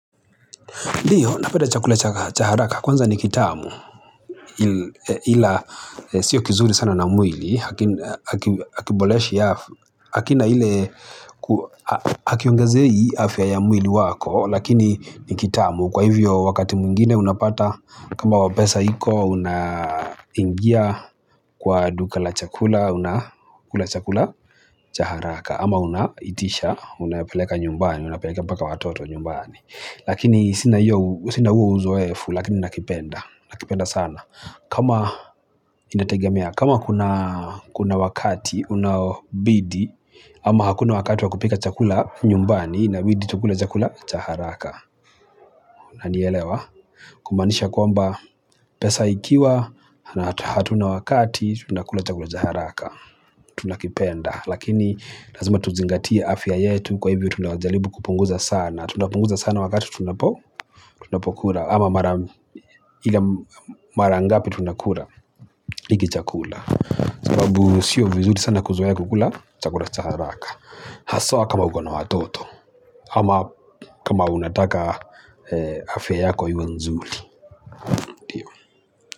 Ndiyo, napenda chakula cha haraka, kwanza ni kitamu, ila sio kizuri sana na mwili, hakiboreshi hakina ile, hakiongezei afya ya mwili wako, lakini ni kitamu. Kwa hivyo wakati mwingine unapata kama pesa iko unaingia kwa duka la chakula unakula chakula cha haraka ama unaitisha, unapeleka nyumbani, unapelekea mpaka watoto nyumbani. Lakini sina huo uzoefu lakini nakipenda, nakipenda sana. Kama kuna wakati unaobidi ama hakuna wakati wa kupika chakula nyumbani inabidi tukule chakula cha haraka unanielewa? Kumanisha kwamba pesa ikiwa na hatuna wakati tunakula chakula cha haraka tunakipenda lakini lazima tuzingatie afya yetu kwa hivyo tunajaribu kupunguza sana tunapunguza sana wakati tunapo tunapokula ama mara ngapi tunakula hiki chakula. Sababu sio vizuri sana kuzoea kukula chakula cha haraka. Hasa kama uko na watoto ama kama unataka afya yako yu nzuri.